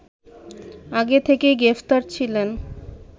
আগে থেকেই গ্রেফতার ছিলেন